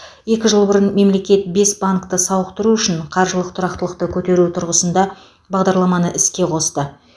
екі жыл бұрын мемлекет бес банкті сауықтыру үшін қаржылық тұрақтылықты көтеру тұрғысында бағдарламаны іске қосты